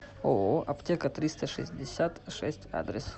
ооо аптека триста шестьдесят шесть адрес